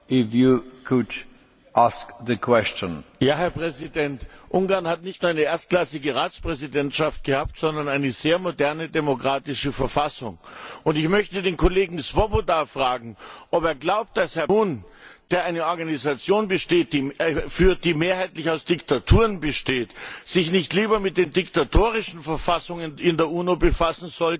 Herr Präsident! Ungarn hat nicht nur eine erstklassige Ratspräsidentschaft geführt, sondern es hat auch eine sehr moderne demokratische Verfassung. Ich möchte den Kollegen Swoboda fragen, ob er glaubt, dass Herr Ban Ki moon, der eine Organisation führt, die mehrheitlich aus Diktaturen besteht, sich nicht lieber mit den diktatorischen Verfassungen in der UNO befassen sollte als mit der eines demokratischen Musterlandes.